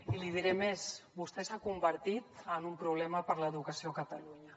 i li diré més vostè s’ha convertit en un problema per a l’educació a catalunya